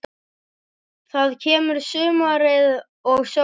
Þá kemur sumarið og sólin.